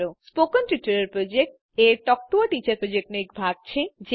spoken Tutorial Project એ Talk to a Teacher પ્રોજેક્ટનો એક ભાગ છે